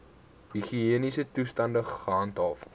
higiëniese toestande gehandhaaf